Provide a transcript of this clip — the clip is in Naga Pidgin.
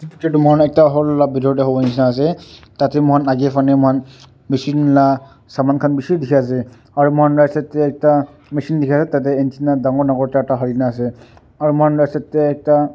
Picture tuh mokhan ekta hall la bethor dae hovole nehsina ase tatey mokhan agae phane mokhan machine la saman khan beshi dekhe ase aro mokhan right side dae ekta machine dekhe ase tatey antenna dangor dangor charta halina ase aro mokhan la side dae ekta.